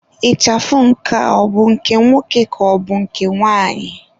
Ịchafụ nke ọ bụ nke nwoke ka ọ bụ nke nwanyị?